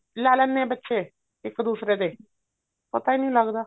ਲਾ ਲੈਣੇ ਆ ਬੱਚੇ ਇੱਕ ਦੂਸਰੇ ਦੇ ਪਤਾ ਹੀ ਨੀ ਲੱਗਦਾ